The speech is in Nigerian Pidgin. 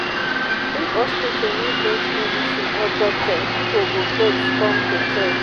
if hospital no get medicine or doctor pipo go vex come protest